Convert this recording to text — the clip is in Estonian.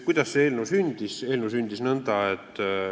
Kuidas see eelnõu sündis?